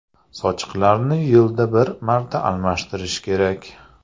Sochiqlarni yilda bir marta almashtirish kerak.